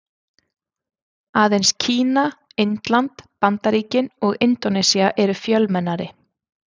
Aðeins Kína, Indland, Bandaríkin og Indónesía eru fjölmennari.